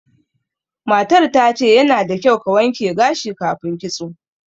Matar ta ce, yana da kyau ka wanke gashi kafin kitso.